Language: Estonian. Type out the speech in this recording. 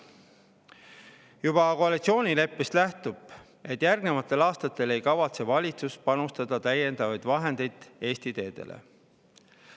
Juba koalitsioonileppest nähtub, et järgnevatel aastatel ei kavatse valitsus panustada täiendavaid vahendeid Eesti teedele.